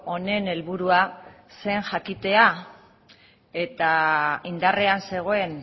honen helburua zen jakitea eta indarrean zegoen